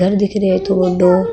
घर दिखरो इतो बड़ों।